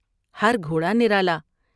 ہر گھوڑا نرالا ۔